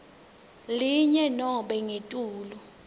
linye nobe ngetulu